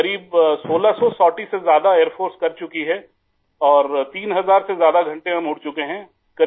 سر تقریباً 1600 پروازوں سے زیادہ ایئر فورس کر چکی ہے اور 3000 سے زیادہ گھنٹے ہم اُڑ چکے ہیں